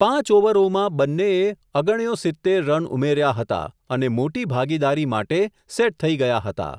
પાંચ ઓવરોમાં બંનેએ, અગણ્યો સિત્તેર રન ઉમેર્યા હતા, અને મોટી ભાગીદારી માટે સેટ થઇ ગયા હતા.